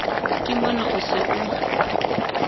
ke mona o se o